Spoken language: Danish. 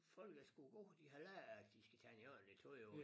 Folket er sgu gode de har lært at de skal tage en ordentligt tøj over